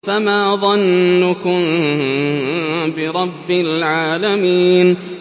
فَمَا ظَنُّكُم بِرَبِّ الْعَالَمِينَ